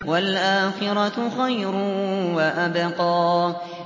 وَالْآخِرَةُ خَيْرٌ وَأَبْقَىٰ